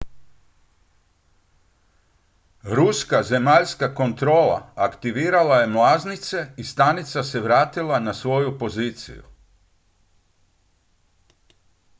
ruska zemaljska kontrola aktivirala je mlaznice i stanica se vratila na svoju poziciju